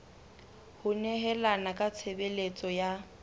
ho nehelana ka tshebeletso ya